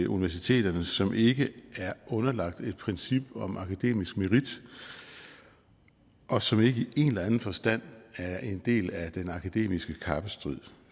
universiteterne som ikke er underlagt et princip om akademisk merit og som ikke i en eller anden forstand er en del af den akademiske kappestrid